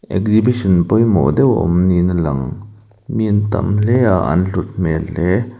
exibition pawimawh deuh a awm niin a lang mi an tam hle a an hlut hmel hle.